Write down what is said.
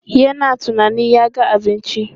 Yana tunanin ya ga abinci.